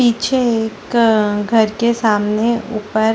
पीछे एक घर के सामने ऊपर --